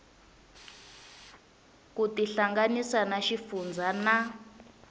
ku tihlanganisa na xifundzha na